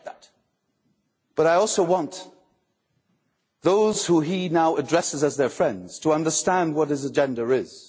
I respect that, but I also want those whom he now addresses as friends to understand what his agenda is.